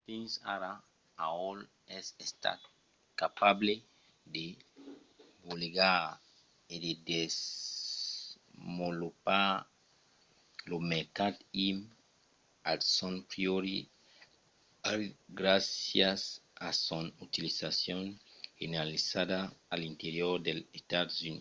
fins ara aol es estat capable de bolegar e de desvolopar lo mercat im at son pròpri ritme gràcias a son utilizacion generalizada a l’interior dels estats units